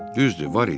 Düzdür, var idi.